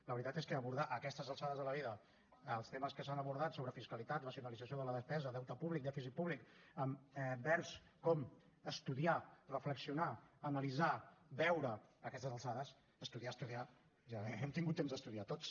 la veritat és que abordar a aquestes alçades de la vida els temes que s’han abordat sobre fiscalitat racionalització de la despesa deute públic dèficit públic amb verbs com estudiar reflexionar analitzar veure a aquestes alçades estudiar estudiar ja hem tingut temps d’estudiar tots